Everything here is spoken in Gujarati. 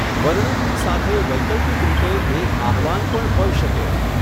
વર્ણમની સાથે વૈકલ્પિક રીતે એક આહ્વવાન પણ હોઈ શકે.